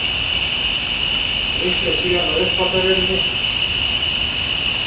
Snýr sér síðan að uppþvottavélinni.